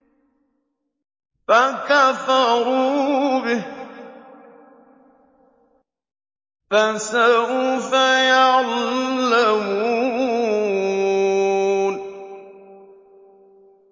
فَكَفَرُوا بِهِ ۖ فَسَوْفَ يَعْلَمُونَ